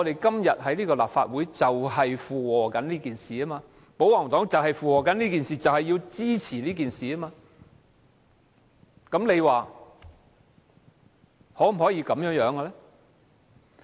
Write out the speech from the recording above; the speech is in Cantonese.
今天立法會正是在附和這件事，保皇黨正在附和這件事，支持這件事，大家認為這樣做正確嗎？